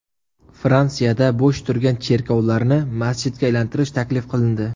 Fransiyada bo‘sh turgan cherkovlarni masjidga aylantirish taklif qilindi.